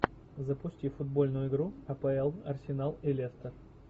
запусти футбольную игру апл арсенал и лестер